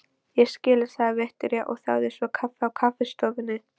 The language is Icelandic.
Ég skil, sagði Viktoría og þáði svo kaffi á kaffistofunni.